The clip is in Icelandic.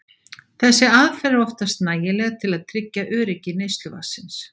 Þessi aðferð er oftast nægileg til að tryggja öryggi neysluvatnsins.